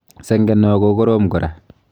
Senge noo kokorom kora.